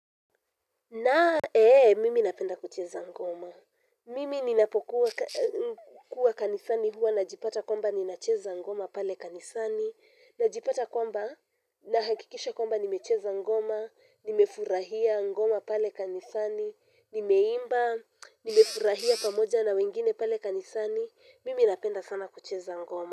Na, ee, mimi napenda kucheza ngoma. Mimi ninapokuwa kanisani huwa, najipata kwamba, ninacheza ngoma pale kanisani. Najipata kwamba, nahakikisha kwamba, nimecheza ngoma, nimefurahia ngoma pale kanisani. Nimeimba, nimefurahia pamoja na wengine pale kanisani. Mimi napenda sana kucheza ngoma.